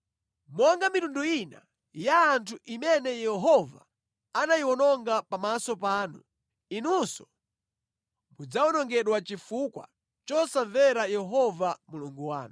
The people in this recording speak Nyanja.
Monga mitundu ina ya anthu imene Yehova anayiwononga pamaso panu, inunso mudzawonongedwa chifukwa chosamvera Yehova Mulungu wanu.